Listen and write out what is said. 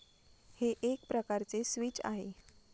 हे एक प्रकारचे स्विच आहे.